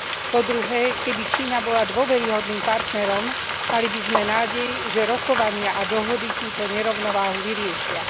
Po druhé, keby Čína bola dôveryhodným partnerom, mali by sme nádej, že rokovania a dohody túto nerovnováhu vyriešia.